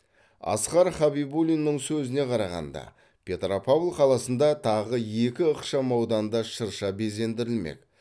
асқар хабибулиннің сөзіне қарағанда петропавл қаласында тағы екі ықшам ауданда шырша безендірілмек